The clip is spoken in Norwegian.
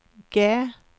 G